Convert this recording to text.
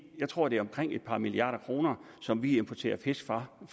jeg tror at det er omkring et par milliarder kroner som vi importerer fisk fra